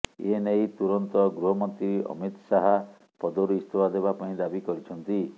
ଏନେଇ ତୁରନ୍ତ ଗୃହମନ୍ତ୍ରୀ ଅମିତ ଶାହା ପଦରୁ ଇସ୍ତଫା ଦେବା ପାଇଁ ଦାବି କରିଛନ୍ତି